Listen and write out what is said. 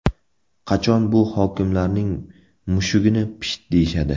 Qachon bu hokimlarning mushugini pisht deyishadi?